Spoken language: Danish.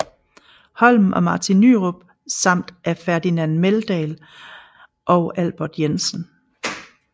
Holm og Martin Nyrop samt af Ferdinand Meldahl og Albert Jensen